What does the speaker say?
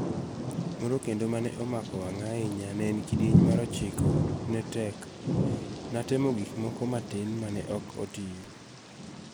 'Moro kendo mane omako wanga' ahinya ne en ''kidieny mar ochiko ne tek'',natemo gik moko matin mane ok otiyo.